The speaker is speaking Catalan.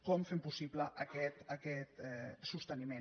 com fem possible aquest sosteniment